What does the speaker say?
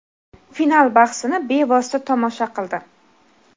final bahsini bevosita tomosha qildi.